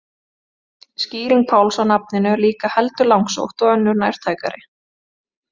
Skýring Páls á nafninu er líka heldur langsótt og önnur nærtækari.